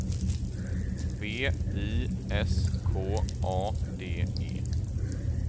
V I S K A D E